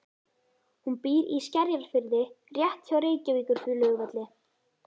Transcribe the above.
Hún býr í Skerjafirði rétt hjá Reykjavíkurflugvelli.